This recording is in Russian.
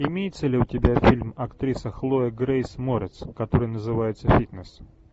имеется ли у тебя фильм актриса хлоя грейс морец который называется фитнес